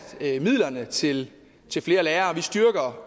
midlerne til til flere lærere og vi styrker